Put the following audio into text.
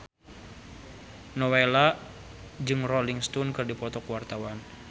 Nowela jeung Rolling Stone keur dipoto ku wartawan